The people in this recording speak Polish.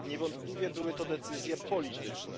Niewątpliwie były to decyzje polityczne.